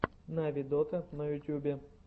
нави дота на ютюбе